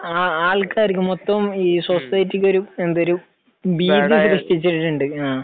ആൾക്കാർക്ക് മൊത്തം ഈ സൊസൈറ്റിക്ക് ഒരു, അതൊരു ഭീതി സൃഷ്ടിച്ചിട്ടുണ്ട്.